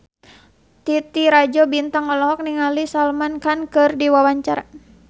Titi Rajo Bintang olohok ningali Salman Khan keur diwawancara